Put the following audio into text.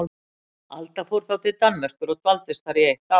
Alda fór þá til Danmerkur og dvaldist þar í eitt ár.